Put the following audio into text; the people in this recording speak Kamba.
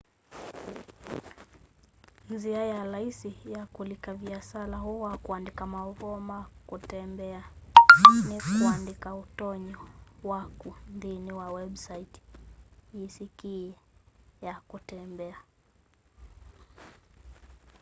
nzia ya laisi ya kulika viasala uu wa kuandika mauvoo ma kutembea ni kandike utonyi waku nthini wa website yisikie ya kutembea